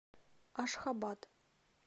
ашхабад